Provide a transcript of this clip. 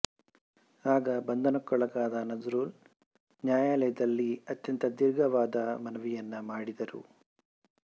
ಆಗ ಬಂಧನಕ್ಕೊಳಗಾದ ನಜ್ರುಲ್ ನ್ಯಾಯಾಲಯದಲ್ಲಿ ಅತ್ಯಂತ ದೀರ್ಘವಾದ ಮನವಿಯನ್ನು ಮಾಡಿದರು